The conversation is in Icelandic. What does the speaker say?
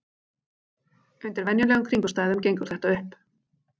Undir venjulegum kringumstæðum gengur þetta upp.